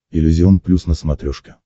иллюзион плюс на смотрешке